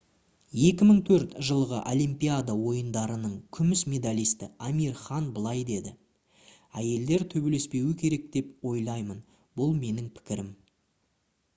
2004 жылғы олимпиада ойындарының күміс медалисті амир хан былай деді: «әйелдер төбелеспеуі керек деп ойлаймын. бұл менің пікірім»